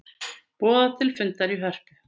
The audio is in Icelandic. Boða til fundar í Hörpu